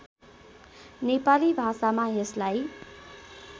नेपाली भाषामा यसलाई